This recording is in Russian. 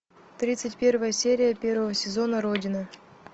тридцать первая серия первого сезона родина